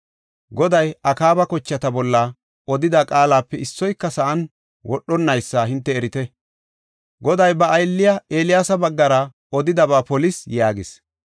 Goday Akaaba kochata bolla odida qaalape issoyka sa7an wodhonnaysa hinte erite. Goday ba aylliya Eeliyaasa baggara odidaba polis” yaagis.